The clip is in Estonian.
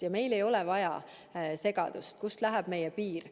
Ja meil ei ole vaja segadust, kust läheb meie piir.